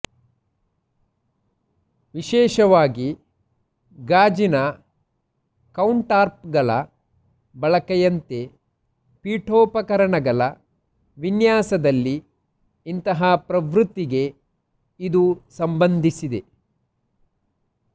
ವಿಶೇಷವಾಗಿ ಗಾಜಿನ ಕೌಂಟರ್ಟಾಪ್ಗಳ ಬಳಕೆಯಂತೆ ಪೀಠೋಪಕರಣಗಳ ವಿನ್ಯಾಸದಲ್ಲಿ ಇಂತಹ ಪ್ರವೃತ್ತಿಗೆ ಇದು ಸಂಬಂಧಿಸಿದೆ